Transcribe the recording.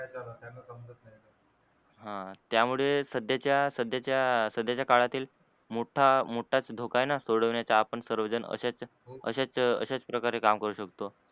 हा त्या मुळे सध्याच्या सध्याच्या सध्याच्या काळातील मोठा मोठाच धोका आहे न सोडवण्याचा आपण सर्व जन असेच असेच असेच प्रकारे काम करू शकतो.